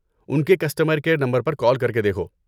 ان کے customer care number پر call کر کے دیکھو۔